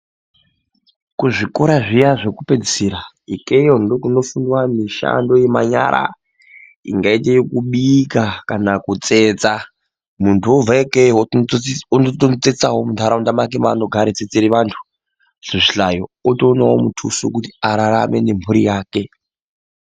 Kuzvikora zviya zvekupedzisira ikeyo ndiko kunofundwa mishando yemanyara ingaite yekubika kana kutsetsa muntu obva ikeyo otonotsetsawo munharaunda mwake mwaanogara, eitsetsere vantu zvihlayo otoonawo mutuso wekuti ararame nemhuri yake.